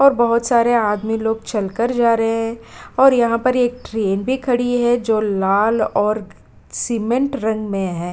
और बहुत सारे आदमी लोग चलकर जा रहे हैं और यहाँ पर एक ट्रीन भी खड़ी है जो लाल और सीमेंट रंग में है।